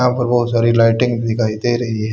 यहां पर बहोत सारी लाइटिंग दिखाई दे रही है।